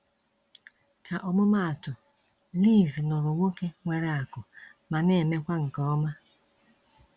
ka ọmụmatụ, liz nụrụ nwoke nwere akụ ma na emekwa nke ọma.